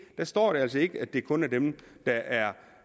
der står det altså ikke at det kun er dem der er